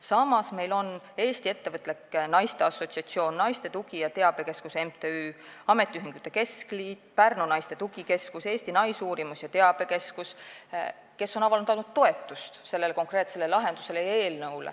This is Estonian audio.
Samas on Eesti Ettevõtlike Naiste Assotsiatsioon, MTÜ Naiste Tugi- ja Teabekeskus, Eesti Ametiühingute Keskliit, Pärnu Naiste Tugikeskus, Eesti Naisuurimus- ja Teabekeskus avaldanud toetust sellele konkreetsele lahendusele ja eelnõule.